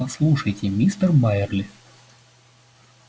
послушайте мистер байерли